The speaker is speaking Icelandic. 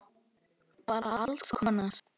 Bara alls konar.